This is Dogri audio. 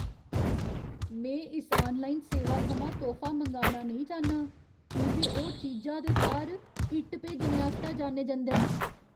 में इस आनलाइन सेवा थमां तोह्फा मंगाना नेईं चाह्न्नां की जे ओह् चीजा दे थाह्‌र इट्ट भेजने आस्तै जाने जंदे न।